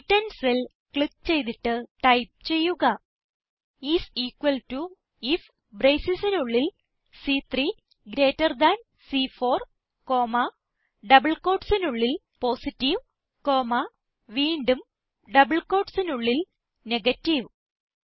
C10 cell click ചെയ്തിട്ട് type ചെയ്യുക is equal to if bracesനുള്ളിൽ സി3 ഗ്രീറ്റർ താൻ സി4 കോമ ഡബിൾ കോട്ട്സിനുള്ളിൽ പോസിറ്റീവ് കോമ വീണ്ടും ഡബിൾ കോട്ട്സിനുള്ളിൽ നെഗേറ്റീവ്